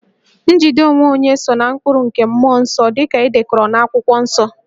Njide onwe onye so ná mkpụrụ nke mmụọ nsọ dị ka e dekọrọ n'Akwụkwọ Nsọ